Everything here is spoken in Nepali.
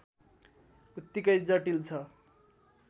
उत्तिकै जटिल छ